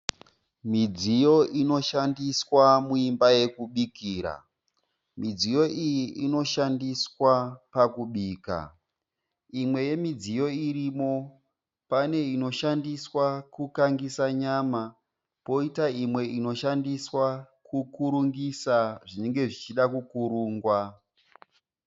Midziyo inoshandiswa muimba yokubikira. Midziyo iyi inoshandiswa pakubika. Imwe yemidziyo irimo pane inoshandiswa kukangisa nyama poita imwe inoshandiswa kukurungisa zvinenge zvichida kukurungwa.